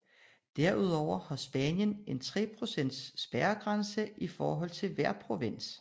Derudover har Spanien en tre procents spærregrænse i forhold til hver provins